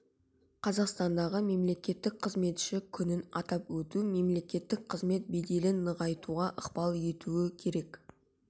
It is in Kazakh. қазақстандағы мемлекеттік қызметші күнін атап өту мемлекеттік қызмет беделін нығайтуға ықпал етуі керек